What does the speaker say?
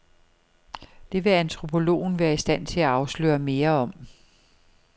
Det vil antropologen være i stand til at afsløre mere om.